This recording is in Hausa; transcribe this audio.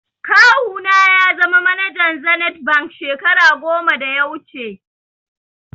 Kawu na ya zama manajan zenith bank shekara goma da ya wuche